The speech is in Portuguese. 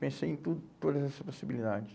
Pensei em tudo, todas essas possibilidades.